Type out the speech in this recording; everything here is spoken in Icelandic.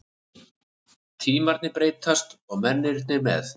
Tímarnir breytast og mennirnir með.